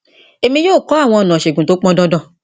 èmi yóò kọ àwọn ọnà ìṣègùn tí ó pọn dandan